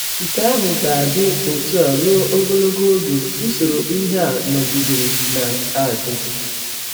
Nke ahụ ga - adị ọtụ a rụọ ọgọlọgọ ọge usọrọ ihe a nọgidere na - adị.